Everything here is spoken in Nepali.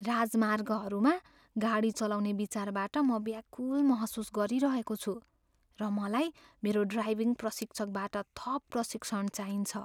राजमार्गहरूमा गाडी चलाउने विचारबाट म व्याकुल महसुस गरिरहेको छु, र मलाई मेरो ड्राइभिङ प्रशिक्षकबाट थप प्रशिक्षण चाहिन्छ।